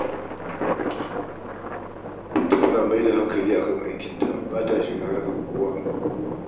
Binta tana mayar da hanakali a kan aikinta, ba ta shiga harkar kowa